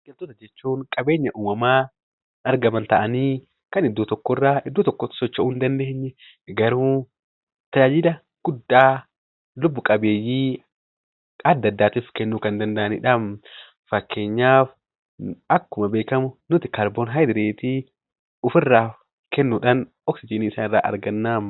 Biqloota jechuun qabeenya uumamaan argaman ta'anii kan iddoo tokkorraa iddoo tokkotti socho'uu hin dandeenye garuu tajaajila guddaa lubbu-qabeeyyii adda addaatiif kennuu kan danda'anidha. Fakkeenyaaf akkuma beekamu nuti kaarboodaayoksaayidii kennuudhaan oksijiinii isaanirraa arganna.